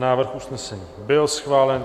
Návrh usnesení byl schválen.